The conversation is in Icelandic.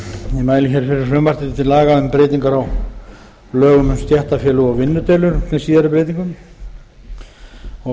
mæli hér fyrir frumvarpi til laga um breytingar á lögum um stéttarfélög og vinnudeilur með síðari breytingu flutningsmenn ásamt